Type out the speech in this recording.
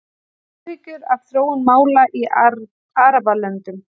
Áhyggjur af þróun mála í Arabalöndum